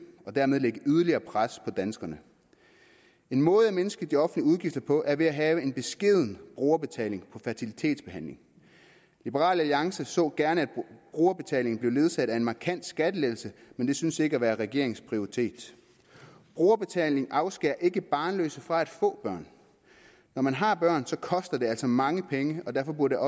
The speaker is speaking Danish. og dermed lægge yderligere pres på danskerne en måde at mindske de offentlige udgifter på er ved at have en beskeden brugerbetaling på fertilitetsbehandling liberal alliance så gerne at brugerbetalingen blev ledsaget af en markant skattelettelse men det synes ikke at være regeringens prioritet brugerbetaling afskærer ikke barnløse fra at få børn når man har børn koster det altså mange penge og derfor burde